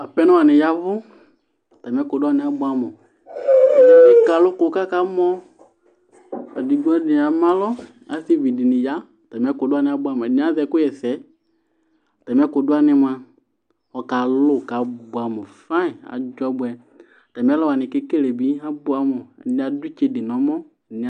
apɛnɔ ni yavʋ atami ɛkʋ dʋ wani abʋamʋ ɛkɛ alʋkʋ kʋ akamɔ ,ɛdi bi ama alɔ asii bɛnɛ ya, atami ɛkʋ wani abʋamʋ, ɛdini azɛ ɛkʋ yɛsɛ, atami ɛkʋ dʋ wani mʋa ɔkalʋ kʋ abʋamʋ fine, adzɔ bʋɛ atami ɛlɔ wani kʋ ɛkɛlɛ bi abʋamʋ, ɛdini adʋ itsɛdi nʋɔmɔ